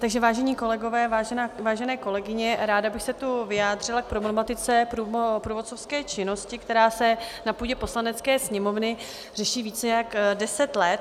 Takže vážení kolegové, vážené kolegyně, ráda bych se tu vyjádřila k problematice průvodcovské činnosti, která se na půdě Poslanecké sněmovny řeší více než deset let.